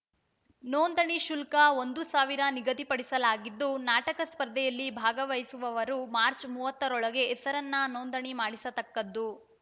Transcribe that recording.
ನೊಂದಣಿ ಶುಲ್ಕ ಒಂದು ಸಾವಿರ ನಿಗದಿಪಡಿಸಲಾಗಿದ್ದು ನಾಟಕ ಸ್ಪರ್ಧೆಯಲ್ಲಿ ಭಾಗವಹಿಸುವವರು ಮಾರ್ಚ್ ಮೂವತ್ತರೊಳಗೆ ಹೆಸರನ್ನು ನೊಂದಣಿ ಮಾಡಿಸತಕ್ಕದ್ದು